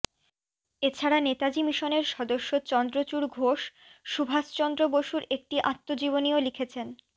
এ ছাড়া নেতাজি মিশনের সদস্য চন্দ্রচূড় ঘোষ সুভাষচন্দ্র বসুর একটি আত্মজীবনীও লিখেছেন